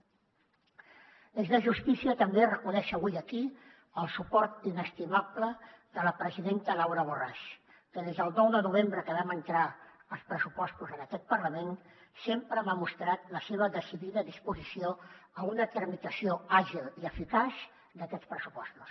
és de justícia també reconèixer avui aquí el suport inestimable de la presidenta laura borràs que des del nou de novembre que vam entrar els pressupostos en aquest parlament sempre m’ha mostrat la seva decidida disposició a una tramitació àgil i eficaç d’aquests pressupostos